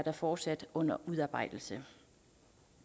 er fortsat under udarbejdelse